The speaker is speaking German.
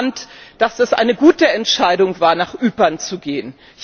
Und ich fand, dass es eine gute Entscheidung war, nach Ypern zu gehen.